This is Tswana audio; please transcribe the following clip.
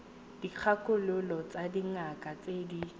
dikgakololo tsa dingaka tse di